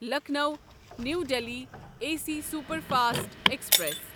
Lucknow new Delhi A C superfast express